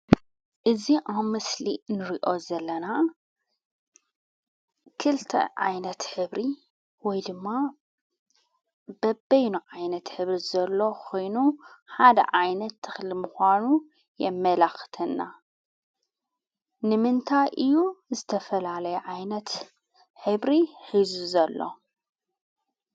እዚ ኣብ ምስሊ ንሪኦ ዘለና ክልተ ዓይነት ሕብሪ ወይ ድማ በበይኑ ዓይነት ሕብሪ ዘሎ ኾይኑ ሓደ ዓይነት ተኽሊ ምዃኑ የመላኽተና፡፡ ንምንታይ እዩ ዝተፈላለየ ዓይነት ሕብሪ ሒዙ ዘሎ?